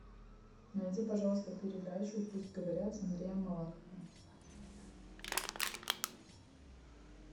найди пожалуйста передачу пусть говорят с андреем малаховым